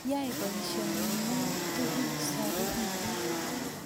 Yai boisionikyuk tugul saru kiten